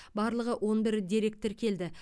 барлығы он бір дерек тіркелді